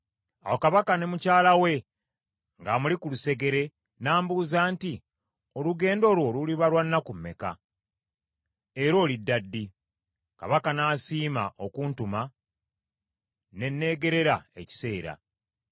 Awo kabaka, ne mukyala we ng’amuli ku lusegere, n’ambuuza nti, “Olugendo lwo luliba lwa nnaku meka, era olidda ddi?” Kabaka n’asiima okuntuma, ne neegerera ekiseera.